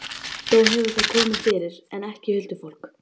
Þó hefur það komið fyrir, en ekki huldufólk.